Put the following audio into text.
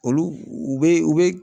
Olu u bɛ u bɛ